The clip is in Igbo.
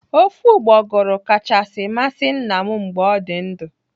Ofe ụgbọgụrụ kachasị masị nna m mgbe ọ dị ndụ.